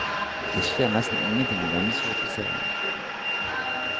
Det skjer nesten ingenting i denne såpeserien.